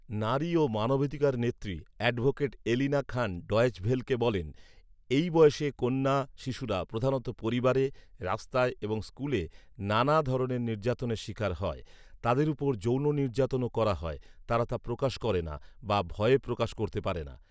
নারী ও মানবাধিকার নেত্রী অ্যাডভোকেট এলিনা খান ডয়চে ভেলকে বলেন, ‘‘এই বয়সের কন্যা শিশুরা প্রধানত পরিবারে, রাস্তায় এবং স্কুলে নানা ধরণের নির্যাতনের শিকার হয়৷ তাদের ওপর যৌন নির্যাতনও করা হয়৷ তারা তা প্রকাশ করেনা৷ বা ভয়ে প্রকাশ করতে পারেনা৷''